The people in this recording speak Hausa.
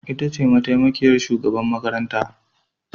Ita ce mataimakiyar shugaban makarantar